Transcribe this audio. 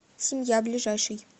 семья ближайший